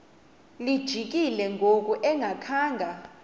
lijikile ngoku engakhanga